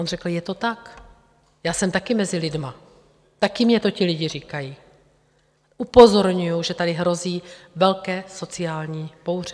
On řekl: Je to tak, já jsem také mezi lidmi, také mi to ti lidé říkají, upozorňuji, že tady hrozí velké sociální bouře.